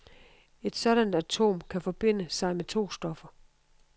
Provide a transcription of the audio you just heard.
Et sådant atom kan forbinde sig med to stoffer.